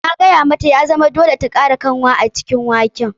Na gaya mata ya zama dole ta kara kanwa a cikin waken.